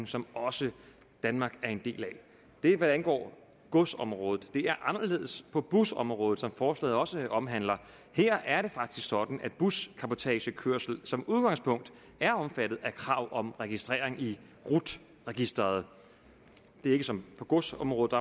som også danmark er en del af det er hvad angår godsområdet det er anderledes på busområdet som forslaget også omhandler her er det faktisk sådan at buscabotagekørsel som udgangspunkt er omfattet af krav om registrering i rut registeret det er ikke som på godsområdet